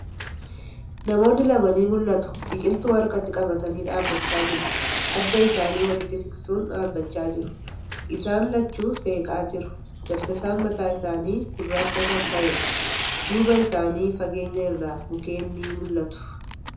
Namoonni lama ni mul'atu. Biqiltuu harkatti qabatanii dhaabbachaa jiru. Adda isaanii walitti siqsuun dhaabbachaa jiru. Isaan lachuu seeqaa jiru. Dabbasaan mataa isaanii gurraacha kan ta'eedha. Duuba isaanii, fageenya irraa mukkeen ni mul'atu.